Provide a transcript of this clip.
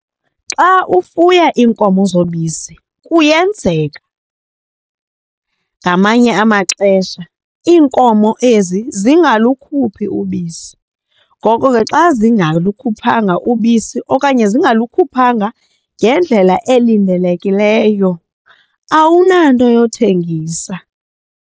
Xa ufuya iinkomo zobisi kuyenzeka ngamanye amaxesha iinkomo ezi zingalukuphi ubisi. Ngoko ke xa zingalikhuphanga ubisi okanye zingalukhuphanga ngendlela elindelekileyo awunanto yothengisa.